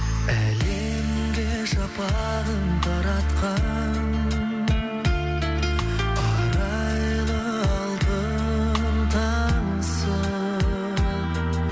әлемге шапағын таратқан арайлы алтын таңсың